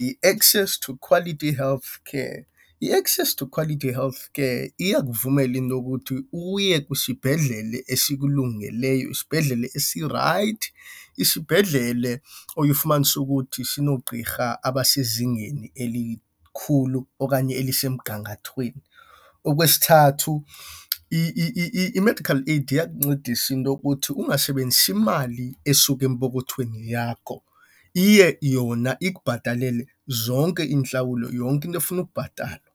yi-access to quality healthcare. I-access to quality healthcare iyakuvumela into yokuthi uye kwisibhedlele esikulungeleyo, isibhedlele esirayithi, isibhedlele oye ufumanise ukuthi sinoogqirha abasezingeni elikhulu okanye elisemgangathweni. Okwesithathu, i-medical aid iyakuncedisa into yokuthi ungasebenzisi imali esuka empokothweni yakho. Iye yona ikubhatalele zonke iintlawulo, yonke into efuna ukubhatalwa.